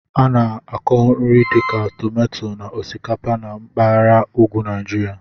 A na-akọ nri dịka tomato na osikapa na mpaghara ugwu Nigeria.